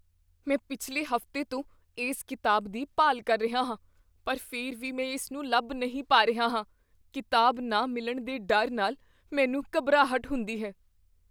ਮੈਂ ਪਿਛਲੇ ਹਫ਼ਤੇ ਤੋਂ ਇਸ ਕਿਤਾਬ ਦੀ ਭਾਲ ਕਰ ਰਿਹਾ ਹਾਂ ਪਰ ਫਿਰ ਵੀ ਮੈਂ ਇਸ ਨੂੰ ਲੱਭ ਨਹੀਂ ਪਾ ਰਿਹਾ ਹਾਂ। ਕਿਤਾਬ ਨਾ ਮਿਲਣ ਦੇ ਡਰ ਨਾਲ ਮੈਨੂੰ ਘਬਰਾਹਟ ਹੁੰਦੀ ਹੈ।